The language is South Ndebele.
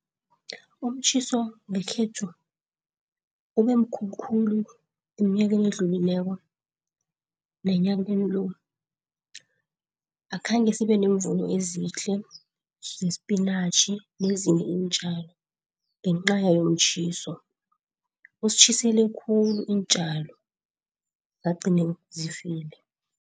Umtjhiso ngekhethu ube mkhulu khulu eminyakeni edlulileko nenyakeni lo. Akhange sibe nemvuno ezihle zesipinatjhi nezinye iintjalo ngenca yomtjhiso, usitjhisele khulu iintjalo zagcine zifile.